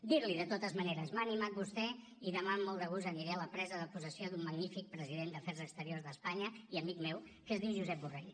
dir li de totes maneres m’ha animat vostè i demà amb molt de gust aniré a la presa de possessió d’un magnífic president d’afers exteriors d’espanya i amic meu que es diu josep borrell